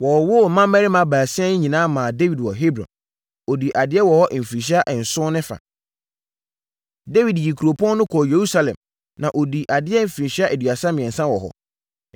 Wɔwowoo mmammarima baasia yi nyinaa maa Dawid wɔ Hebron. Ɔdii adeɛ wɔ hɔ mfirinhyia nson ne fa. Dawid yii kuropɔn no kɔɔ Yerusalem, na ɔdii adeɛ mfirinhyia aduasa mmiɛnsa wɔ hɔ.